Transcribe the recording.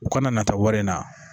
U kana na taa wari in na